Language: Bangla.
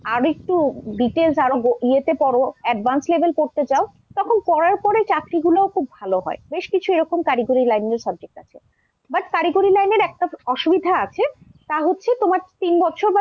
আর একটু details আরও ই এতে পড়ো advance level পড়তে চাও তখন পড়ার পড়ে চাকরিগুলো ও খুব ভালো হয় বেশ কিছু এরকম কারিগরি line এর subject আছে। but কারিগরী line এর একটা অসুবিধা আছে তা হচ্ছে তোমার তিন বছর